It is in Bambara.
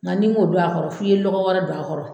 Nka n'i ma o don don a kɔrɔ, f'i ye lɔgɔ wɛrɛ don a kɔrɔ.